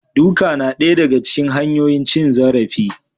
Duka na daya daga cikin hanyoyin cin zarafi